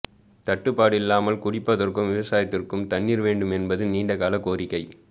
தட்டுப்பாடு இல்லாமல் குடிப்பதற்கும் விவசாயத்துக்கும் தண்ணீர் வேண்டும் என்பது நீண்டகால கோரிக்கை